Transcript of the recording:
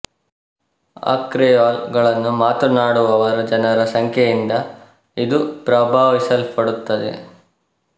ಆ ಕ್ರೆಯೋಲ್ ಗಳನ್ನು ಮಾತನಾಡುವವರ ಜನರ ಸಂಖ್ಯೆಯಿಂದ ಇದು ಪ್ರಭಾವಿಸಲ್ಪಡುತ್ತದೆ